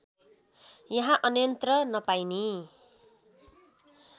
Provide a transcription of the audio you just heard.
यहाँ अन्यन्त्र नपाइने